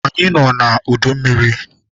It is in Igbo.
Anyị nọ na udu mmiri.